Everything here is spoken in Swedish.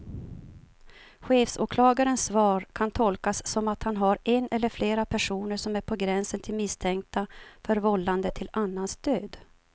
Chefsåklagarens svar kan tolkas som att han har en eller flera personer som är på gränsen till misstänkta för vållande till annans död.